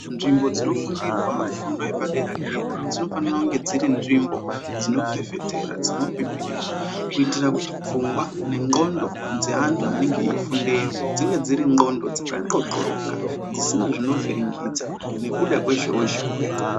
Nzvimbo dzinofundirwa fundo yepadera dera dzinofanira kunge dziri nzvimbo dzinofefetera dzino pipirira kuitira kuti pfungwa nengondo dzeantu anenge eifundeyo dzinge dziri ngondo dzaka xoxoroka dzisina zvinovhiringidza nekuda kwezhowe zhowe.